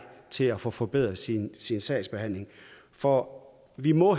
til at få forbedret sin sin sagsbehandling for vi må